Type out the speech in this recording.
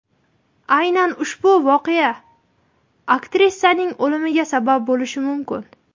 Aynan ushbu voqea aktrisaning o‘limiga sabab bo‘lishi mumkin.